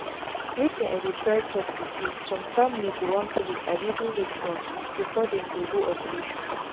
wetin i dey try talk be saysome family go wan pray abi do rituals before them go do operation.